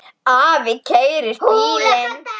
Afi keyrir bílinn.